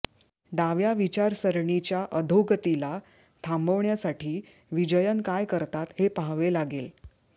डाव्या विचारसरणीच्या अधोगतीला थांबवण्यासाठी विजयन काय करतात हे पाहावे लागेल